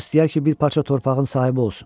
Hamı istəyər ki, bir parça torpağın sahibi olsun.